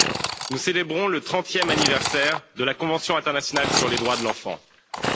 Monsieur le Président, chers collègues, nous célébrons le trentième anniversaire de la convention internationale sur les droits de l'enfant